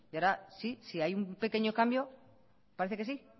y ahora sí si hay un pequeño cambio parece que sí